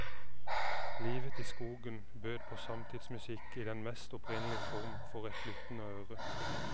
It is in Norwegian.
Livet i skogen bød på samtidsmusikk i den mest opprinnelige form for et lyttende øre.